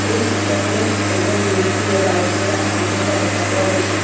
এই চিত্ৰখনত এজন ব্যক্তিয়ে বাইক চলাই আহি থকা দেখা পোৱা গৈছে।